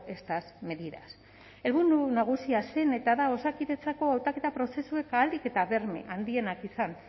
estas medidas helburu nagusia zen eta da osakidetzako hautaketa prozesuak ahalik eta berme handienak izan